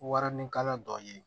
Warinikala dɔ ye